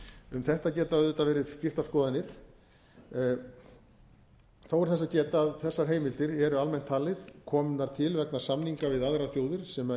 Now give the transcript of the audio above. um þetta geta auðvitað væntanlega verið skiptar skoðanir þó er þess að geta að þessar heimildir eru almennt talið komnar til vegna samninga við aðrar þjóðir sem